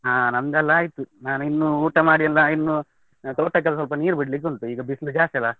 ಹಾ ನಮ್ದೇಲ್ಲ ಆಯ್ತು, ನಾನಿನ್ನು ಊಟ ಮಾಡಿಯೆಲ್ಲ ಇನ್ನು, ತೋಟಕೆಲ್ಲ ಸ್ವಲ್ಪ ನೀರು ಬಿಡ್ಲಿಕ್ಕೆ ಉಂಟು ಈಗ ಬಿಸ್ಲ್ ಜಾಸ್ತಿ ಅಲ್ಲ.